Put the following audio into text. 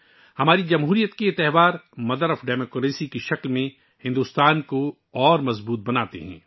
ہماری جمہوریت کے یہ تہوار جمہوریت کی ماں بھارت کو مزید مضبوط کرتے ہیں